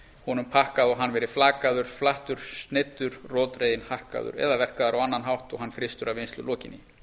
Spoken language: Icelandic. honum pakkað og hann verið flakaður flattur sneiddur roðdreginn hakkaður eða verkaður á annan hátt og hann frystur að vinnslu lokinni